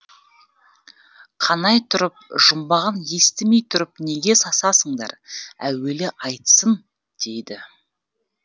қанай тұрып жұмбағын естімей тұрып неге сасасыңдар әуелі айтсын дейді